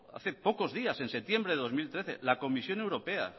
hace pocos días en septiembre de dos mil trece la comisión europea